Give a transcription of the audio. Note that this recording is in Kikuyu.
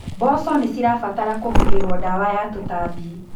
Mboco nĩcirabatara kũhuhĩrwo ndawa ya tũtambi.